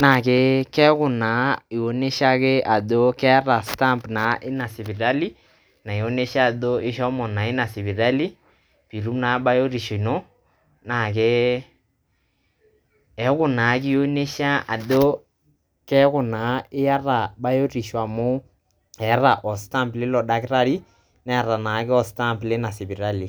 naake keeku naa ionyesha ake ajo keeta stamp ina sipitali naonyesha ajo ishomo naa ina sipitali piitum naa bayotisho ino, naake eeku naake ionyesha ajo keeku naa iata bayotisho amu eeta o stamp lilo dakitari neeta naake o stamp leina sipitali.